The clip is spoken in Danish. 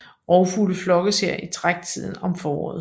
Rovfugle flokkes her i træktiden om foråret